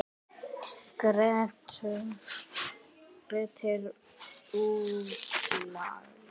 Grettir útlagi.